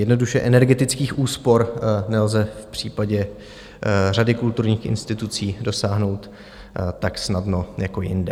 Jednoduše, energetických úspor nelze v případě řady kulturních institucí dosáhnout tak snadno jako jinde.